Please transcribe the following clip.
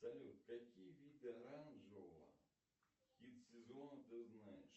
салют какие виды оранжевого хит сезона ты знаешь